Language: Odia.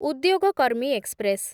ଉଦ୍ୟୋଗ କର୍ମୀ ଏକ୍ସପ୍ରେସ୍‌